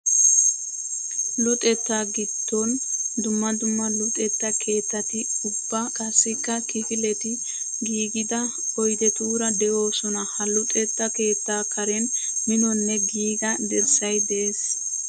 Luxetta gidon dumma dumma luxetta keettati ubba qassikk kifiletti giigidda oyddettura de'ossonna. Ha luxetta keetta karen minonne giigga dirssay de'ees.